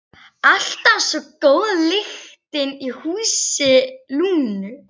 Alltaf svo góð lyktin í húsi Lúnu.